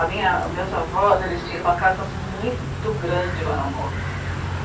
A minha, os meus avós, eles tinham uma casa muito grande lá na moca.